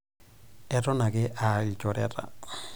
Eton ake aalchoreta.